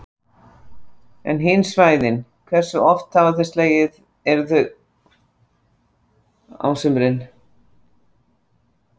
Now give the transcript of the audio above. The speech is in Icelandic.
En hin svæðin, hversu oft eru þau slegin á, á sumrin?